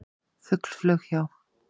Fugl flaug hjá.